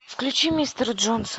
включи мистера джонса